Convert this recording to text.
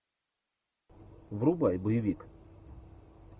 врубай боевик